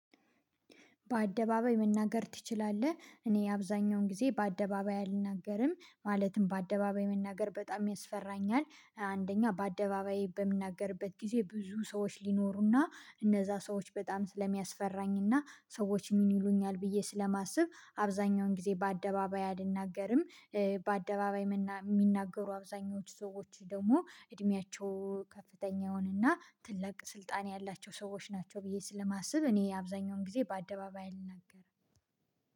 በአደባባይ መናገር ትችላለህ? እኔ አብዛኛውን ጊዜ በአደባባይ አልናገርም ማለትም በአደባባይ መናገር በጣም ያስፈራኛል። አንደኛ በአደባባይ በምናገርበት ጊዜ ብዙ ሰዎች ሊኖሩና እነዛ ሰዎች በጣም ስለሚያስፈራኝና ሰዎች ምን ይሉኛል ብዬ ስለማስብ አብዛኛውን ጊዜ በአደባባይ አልናገርም። በአደባባይ የሚናገሩ አብዛኞቹ ሰዎች ደግሞ እድሜያቸው ከፍተኛውንና ትልቅ ስልጣን ያላቸው ሰዎች ናቸው ብዬ ስለማስብ እኔ አብዛኛውን ጊዜ በአደባባይ አልናገርም።